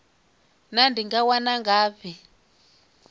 naa ndi nga wana ngafhi